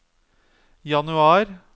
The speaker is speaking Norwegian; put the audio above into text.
januar